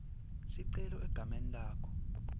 sicelo egameni lakho